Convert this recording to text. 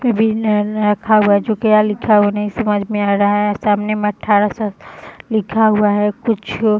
रखा हुआ जो क्या लिखा हुआ नहीं समझ में आ रहा है सामने में अठारह सौ लिखा हुआ है कुछ--